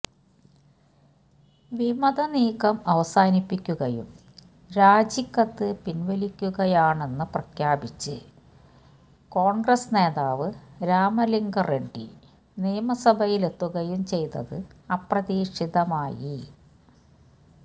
വിമതനീക്കം അവസാനിപ്പിക്കുകയും രാജിക്കത്തു പിന്വലിക്കുകയാണെന്നു പ്രഖ്യാപിച്ച് കോണ്ഗ്രസ് നേതാവ് രാമലിംഗ റെഡ്ഡി നിയമസഭയിലെത്തുകയും ചെയ്തത് അപ്രതീക്ഷിതമായി